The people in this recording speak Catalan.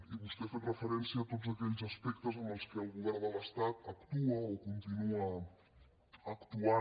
i vostè ha fet referència a tots aquells aspectes en què el govern de l’estat actua o continua actuant